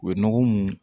U ye nɔgɔ mun